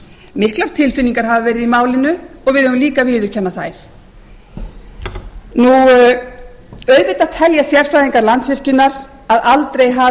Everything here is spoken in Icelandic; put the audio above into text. miklar tilfinningar hafa verið í málinu og við verðum eiga að viðurkenna þær auðvitað telja sérfræðingar landsvirkjunar að aldrei